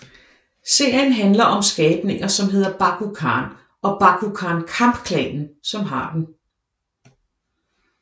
Serien handler om skabninger som hedder Bakugan og Bakugan Kamp Klanen som har dem